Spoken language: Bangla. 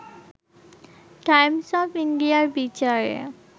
টাইমস অব ইন্ডিয়ার বিচারে